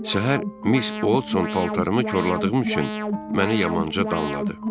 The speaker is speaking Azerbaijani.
Səhər Miss Oldson paltarımı korladığım üçün məni yamanca danladı.